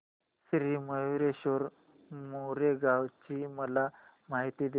श्री मयूरेश्वर मोरगाव ची मला माहिती दे